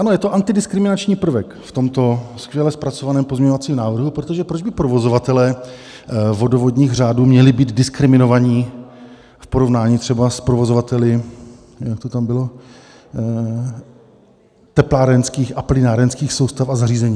Ano, je to antidiskriminační prvek v tomto skvěle zpracovaném pozměňovacím návrhu, protože proč by provozovatelé vodovodních řádů měli být diskriminovaní v porovnání třeba s provozovateli, jak to tam bylo, teplárenských a plynárenských soustav a zařízení?